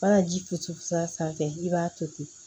Mana ji to sira sanfɛ i b'a to ten